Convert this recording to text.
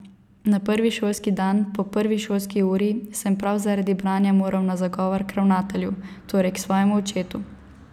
Na prvi šolski dan, po prvi šolski uri, sem prav zaradi branja moral na zagovor k ravnatelju, torej k svojemu očetu.